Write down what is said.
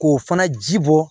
K'o fana ji bɔ